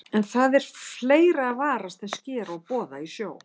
En það er fleira að varast en sker og boða í sjó.